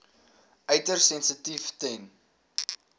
uiters sensitief ten